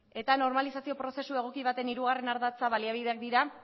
eta normalizazio prozesu egoki baten hirugarren ardatza baliabideak dira